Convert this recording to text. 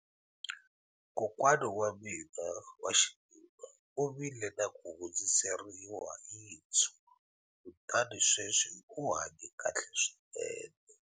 Kokwana wa mina wa xinuna u vile na ku hundziseriwa yinsu kutani sweswi u hanye kahle swinene